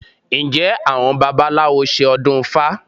Ǹjẹ́ àwọn babaláwo ṣe ọdún ifá?